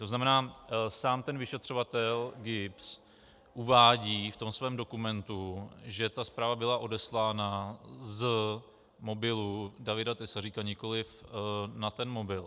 To znamená, sám ten vyšetřovatel GIBS uvádí v tom svém dokumentu, že ta zpráva byla odeslána z mobilu Davida Tesaříka, nikoliv na ten mobil.